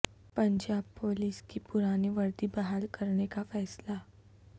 Punjab police کی پرانی وردی بحال کرنے کا فیصلہ